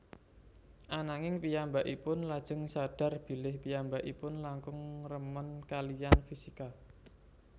Ananging piyambakipun lajeng sadhar bilih piyambakipun langkung remen kaliyan fisika